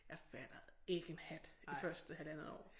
Jeg fattede ikke en hat det første halvandet år